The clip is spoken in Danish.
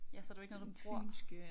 Ja så det jo ikke noget du bruger